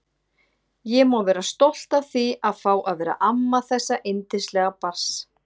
Ég má vera stolt af því að fá að vera amma þessa yndislega barns.